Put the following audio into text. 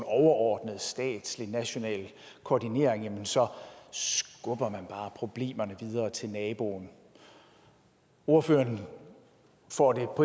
overordnet statslig national koordinering så skubber man bare problemerne videre til naboen ordføreren får det på